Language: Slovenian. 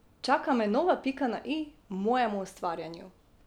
Čaka me nova pika na i mojemu ustvarjanju.